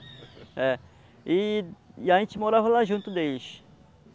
É, e... e a gente morava lá junto deles.